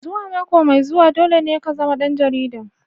Zuwa mako mai zuwa dole ne ka zama ɗan jarida.